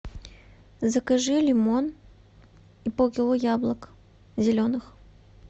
закажи лимон и полкило яблок зеленых